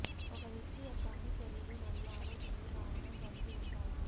ఒక వ్యక్తి యొక్క అన్ని చర్యలు మరియు ఆలోచనలు కారణం కలిగి ఉంటాయి